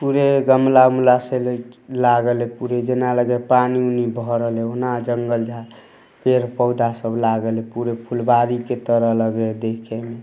पुरे गमला उमला से लैक लागल है पुरे जना लगे पानी उनी भरल है उना जंगल झार पेड़-पौधा सब लागल है पुरे फुलवारी के तरह लग है देखे में।